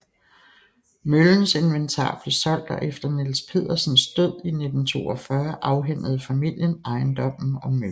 Møllens inventar blev solgt og efter Niels Pedersens død i 1942 afhændede familien ejendommen og møllen